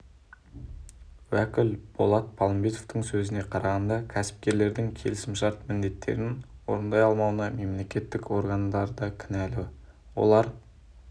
уәкіл болат палымбетовтың сөзіне қарағанда кәсіпкерлердің келісімшарт міндеттерін орындай алмауына мемлекеттік органдар да кінәлі олар